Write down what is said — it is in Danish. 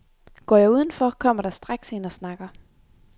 Går jeg uden for, kommer der straks en og snakker.